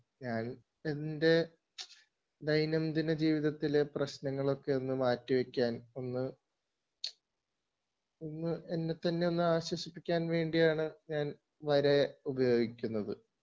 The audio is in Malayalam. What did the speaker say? ഞാൻ എൻ്റെ ദൈനംദിന ജീവിതത്തിലെ പ്രശ്നങ്ങളൊക്കെ ഒന്ന് മാറ്റിവയ്ക്കാൻ ഒന്ന്, ഒന്ന് എന്നെത്തന്നെ ഒന്ന് ആശ്വസിപ്പിക്കാൻ വേണ്ടിയാണ് ഞാൻ വര ഉപയോഗിക്കുന്നത്